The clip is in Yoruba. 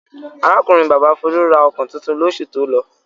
Arákùnrin-bàbá Folú ra ọkọ̀ tuntun lóṣù tó lọ.